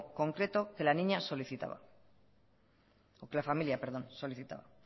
concreto que la familia solicitaba